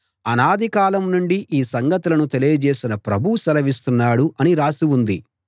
అనాదికాలం నుండి ఈ సంగతులను తెలియజేసిన ప్రభువు సెలవిస్తున్నాడు అని రాసి ఉంది